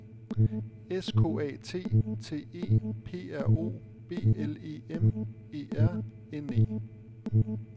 S K A T T E P R O B L E M E R N E